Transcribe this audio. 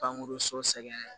Pankurun sogɛrɛn